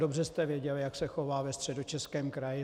Dobře jste věděli, jak se chová ve Středočeském kraji.